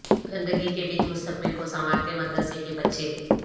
گندگی کے بیچ مستقبل کو سنوارتے مدرسہ کے بچے